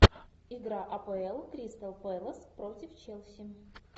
игра апл кристал пэлас против челси